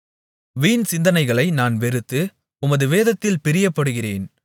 வீண் சிந்தனைகளை நான் வெறுத்து உமது வேதத்தில் பிரியப்படுகிறேன்